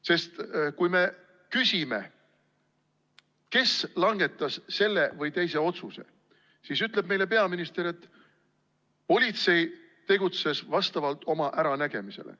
Sest kui me küsime, kes langetas selle või teise otsuse, siis ütleb meile peaminister, et politsei tegutses vastavalt oma äranägemisele.